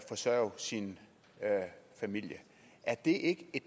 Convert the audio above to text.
forsørge sin familie er det